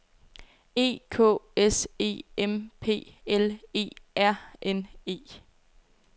E K S E M P L E R N E